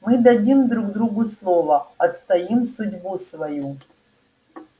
мы дадим друг другу слово отстоим судьбу свою